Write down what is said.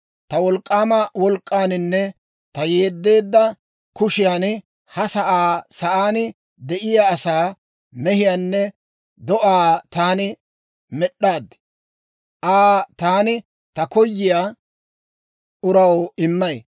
«Ta wolk'k'aama wolk'k'aaninne ta yeddeedda kushiyan ha sa'aa, sa'aan de'iyaa asaa, mehiyaanne do'aa taani med'd'aad. Aa taani ta koyiyaa uraw immay.